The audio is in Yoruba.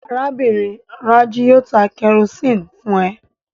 Arábìnrin Rájí yóò ta kẹrosíni fún ẹ